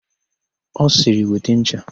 Ọ sịrị, "weta ncha"!